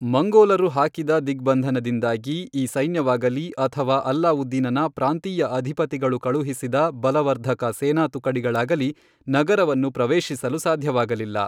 ಮಂಗೋಲರು ಹಾಕಿದ ದಿಗ್ಬಂಧನದಿಂದಾಗಿ ಈ ಸೈನ್ಯವಾಗಲೀ ಅಥವಾ ಅಲಾವುದ್ದೀನನ ಪ್ರಾಂತೀಯ ಅಧಿಪತಿಗಳು ಕಳುಹಿಸಿದ ಬಲವರ್ಧಕ ಸೇನಾತುಕಡಿಗಳಾಗಲೀ ನಗರವನ್ನು ಪ್ರವೇಶಿಸಲು ಸಾಧ್ಯವಾಗಲಿಲ್ಲ.